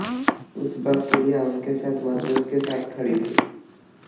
उस वक्त रिया उनके साथ मज़बूती के साथ खड़ी थीं